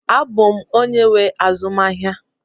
Abụ m onye nwe azụmahịa